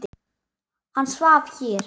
Hann svaf hér.